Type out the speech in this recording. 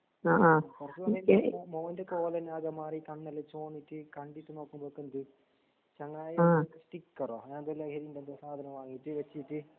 കുറച്ച്സമയത്ത് മോന്റെകൊലോന്നാകെമാറീട്ട് കണ്ണെല്ലാംചുവന്നിട്ട് കണ്ടിട്ട്നോക്കുമ്പക്കെന്ത് ചങ്ങായി സ്റിക്കറോ അങ്ങനെയെന്തോലഹരിയുണ്ടല്ലോ സാധനംവാങ്ങീട്ട് വച്ചിട്ട്